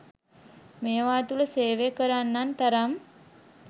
මේවා තුළ සේවය කරන්නන් තරම්